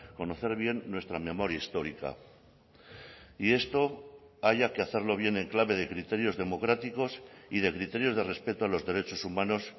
conocer bien nuestra memoria histórica y esto haya que hacerlo bien en clave de criterios democráticos y de criterios de respeto a los derechos humanos